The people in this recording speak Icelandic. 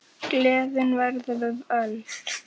Gleðin verður við völd.